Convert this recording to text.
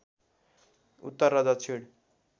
उत्तर र दक्षिण